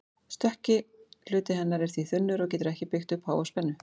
Stökki hluti hennar er því þunnur og getur ekki byggt upp mjög háa spennu.